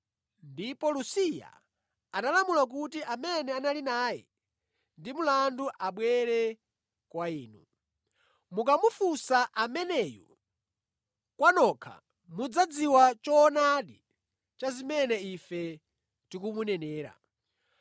Ndipo Lusiya analamula kuti amene anali naye ndi mlandu abwere kwa inu. Mukamufunsa ameneyu kwa nokha mudzadziwa choonadi cha zimene ife tikumunenera.”